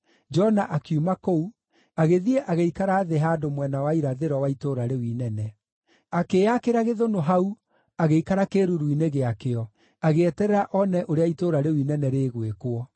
Jona akiuma kũu, agĩthiĩ agĩikara thĩ handũ mwena wa irathĩro wa itũũra rĩu inene. Akĩĩakĩra gĩthũnũ hau, agĩikara kĩĩruru-inĩ gĩakĩo, agĩeterera one ũrĩa itũũra rĩu inene rĩgwĩkwo.